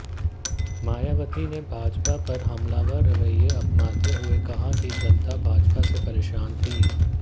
मायावती ने भाजपा पर हमलावर रवैया अपनाते हुए कहा कि जनता भाजपा से परेशान थी